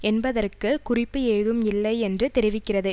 என்பதற்கு குறிப்பு ஏதும் இல்லை என்று தெரிவிக்கிறது